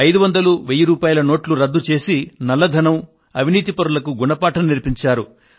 500 1000 రూపాయల నోట్లను రద్దు చేసి నల్లధన ఆసాములకు అవినీతిపరులకు గుణపాఠం నేర్పించారు